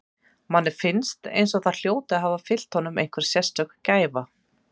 Manni finnst eins og það hljóti að hafa fylgt honum einhver sérstök gæfa.